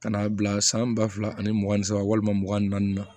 Ka n'a bila san ba fila ani mugan ni saba walima mugan ni naani na